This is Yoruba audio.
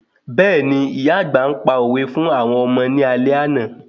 Bẹ́ẹ̀ni, ìyá àgbà pa òwe fún àwọn ọmọ ní àlẹ́ àná